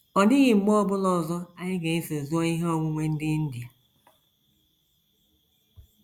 Ọ dịghị mgbe ọ bụla ọzọ anyị ga - eso zuo ihe onwunwe ndị India....